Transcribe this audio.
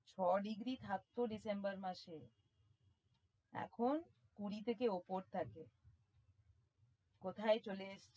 ছয় ডিগ্রী থাকতো ডিসেম্বর মাসে এখন কুড়ি থেকে ওপর থাকে কোথায় চলে এসছে।